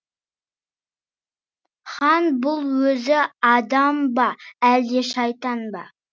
хан бұл өзі адам ба әлде шайтан ба